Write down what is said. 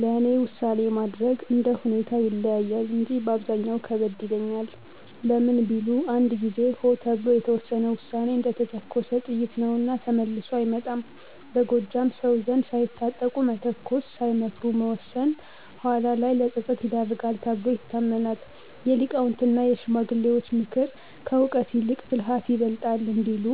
ለእኔ ውሳኔ ማድረግ እንደ ሁኔታው ይለያያል እንጂ በአብዛኛው ከበድ ይለኛል። ለምን ቢሉ፣ አንድ ጊዜ "ሆ" ተብሎ የተወሰነ ውሳኔ እንደተተኮሰ ጥይት ነውና ተመልሶ አይመጣም። በጎጃም ሰው ዘንድ "ሳይታጠቁ መተኮስ፣ ሳይመክሩ መወሰን" ኋላ ላይ ለፀጸት ይዳርጋል ተብሎ ይታመናል። የሊቃውንትና የሽማግሌዎች ምክር፦ "ከእውቀት ይልቅ ብልሃት ይበልጣል" እንዲሉ፣